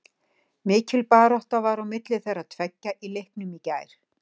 Mikil barátta var á milli þeirra tveggja í leiknum í gær.